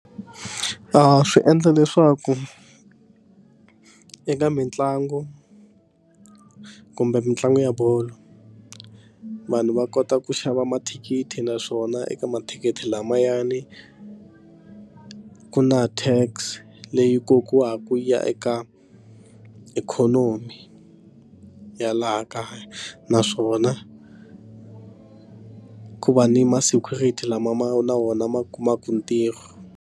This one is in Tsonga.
Swi endla leswaku eka mitlangu kumbe mitlangu ya bolo vanhu va kota ku xava mathikithi naswona eka mathikithi lamayani ku na tax leyi kokiwaka ya eka ikhonomi ya laha kaya naswona ku va ni ma security lama ma na wona ma kumaka ntirho.